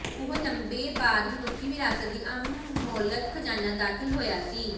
ਉਹ ਲੰਬੇ ਬਾਅਦ ਮਨੁੱਖੀ ਵਿਰਾਸਤ ਦੀ ਅਮੋਲਕ ਖਜਾਨਾ ਦਾਖਲ ਹੋਇਆ ਸੀ